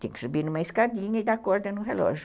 Tem que subir numa escadinha e dar corda no relógio.